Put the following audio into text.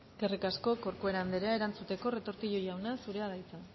eskerrik asko corcuera anderea erantzuteko retortillo jauna zurea da hitza